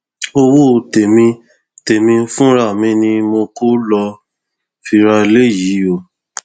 owó tèmi tèmi fúnra mi ni mo kọ lóo fi ra eléyìí o